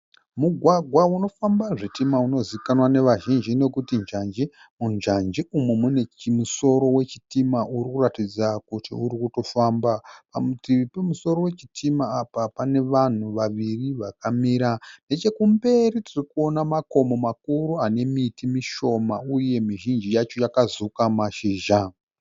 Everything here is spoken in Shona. Mugwagwa unofamba zvitima inozikanwa nevazhinji nokuti njanji. Munjanji umu mune chimusoro wechitima urikuratidza kuti urikutofamba. Parutivi pemusoro wechitima apa pane vanhu vaviri vakamira. Nechekumberi tirikuona makomo makuru anemiti mishoma uye mizhinji yacho yakazuka mashizha.